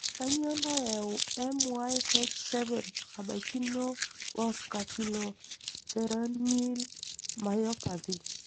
Kanyio nayau MYH7 nabaikino wo scapuloperoneal myopathy?